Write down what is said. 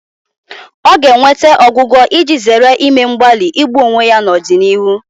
Ọ ga-enweta ọgwụgwọ iji zere ime mgbalị igbu onwe ya n'ọdịnihu